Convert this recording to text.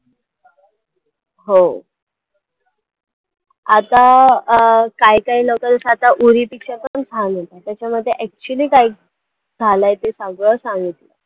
हो आता अं काही काही locals आता उरी pictures पण छान होता, त्याच्यामध्ये actually काय झालं ते सगळं सांगितलं.